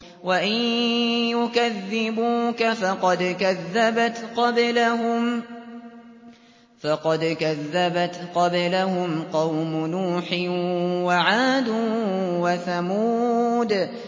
وَإِن يُكَذِّبُوكَ فَقَدْ كَذَّبَتْ قَبْلَهُمْ قَوْمُ نُوحٍ وَعَادٌ وَثَمُودُ